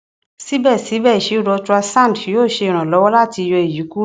sibẹsibẹ iṣiro ultrasound yoo ṣe iranlọwọ lati yọ eyi kuro